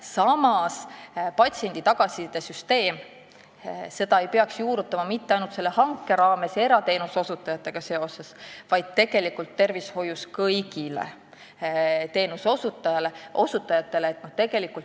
Samas ei peaks patsiendi tagasisidesüsteemi juurutama ainult selle hanke raames ja tegelikult peaks kaasama kõik teenuseosutajad tervishoius, mitte ainult erateenuse osutajad.